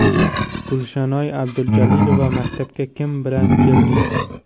Gulshanoy Abdujalilova Maktabga kim bilan kelding?